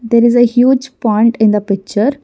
there is a huge pond in the picture.